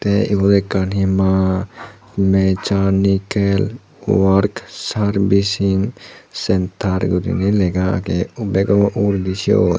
te ibot ekkan hi ma mechanikel wark sarbesing sentar gurinei lega agey bego uguredi siyot.